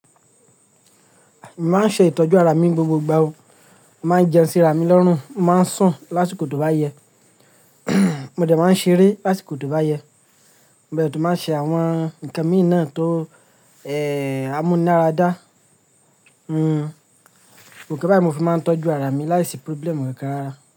Èmi máa ń ṣe ìtọ́jú ara mi ni gbogbo ìgbà o. Mo máa ń jẹun síra mi lọ́rùn, mo máa ń sùn lásìkò tó bá yẹ, mo dẹ̀ máa ń ṣeré lásìkò tó bá yẹ, mo dẹ̀ tún máa ń ṣe àwọn nǹkan míì náà tó, eeh, ámú nara dá. Hmm, ǹkan bayi, mo fi máa ń tọ́jú ara mi láìsí problem kankan rárá.